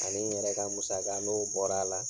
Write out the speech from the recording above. Ani n yɛrɛ ka musaka n'o bɔr'a la